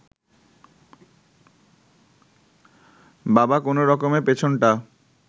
বাবা কোনো রকমে পেছনটা